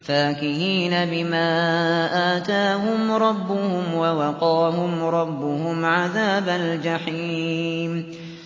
فَاكِهِينَ بِمَا آتَاهُمْ رَبُّهُمْ وَوَقَاهُمْ رَبُّهُمْ عَذَابَ الْجَحِيمِ